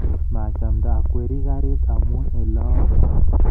Maachamndaata akweri garit amu ole au